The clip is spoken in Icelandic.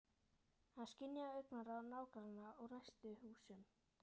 Hann skynjaði augnaráð nágrannanna úr næstu húsum.